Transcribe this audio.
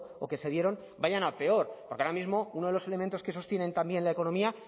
o que se dieron vayan a peor porque ahora mismo uno de los elementos que sostienen también la economía